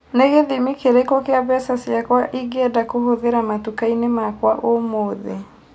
nĩ gĩthĩmĩ kĩrĩkũ kia mbeca cĩakwa ingienda kũhũthira matũka-inĩ makwa ũmũthi